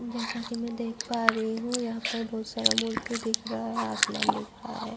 جیسا کی میں دیکھ پا رہی ہو یہا پر بھوت سارا مرتی دیکھ رہا ہے۔ آسمان دیکھ رہا ہے۔